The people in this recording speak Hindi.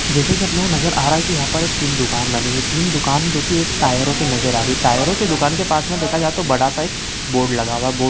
जैसा कि आप लोगों को नज़र आ रहा है कि यहाँ पर एक तीन दुकान बनी हुई हैं तीन दुकान जो कि एक टायरों की नज़र आ रही है टायरों की दुकान के पास में देखा जाए तो बड़ा सा एक बोर्ड लगा हुआ है बोर्ड --